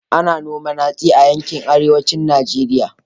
Ana noman hatsi a yankin Arewacin Najeriya